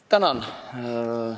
Tänan!